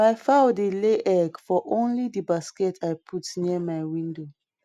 my fowl dey lay egg for only di basket i put near my window